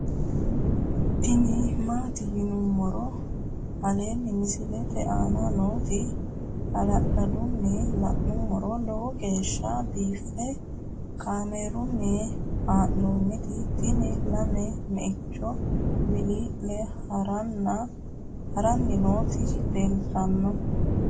tini maati yinummoro aleenni misilete aana nooti hala'ladunni la'nummoro lowo geeshsha biiffe kaamerunni haa'nooniti tini lame meichu wilii'li haranni nooti leeltannoe